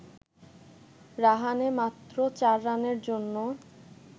রাহানে মাত্র ৪ রানের জন্য